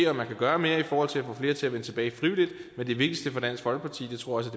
om man kan gøre mere i forhold til at få flere til at vende tilbage frivilligt men det vigtigste for dansk folkeparti og det tror jeg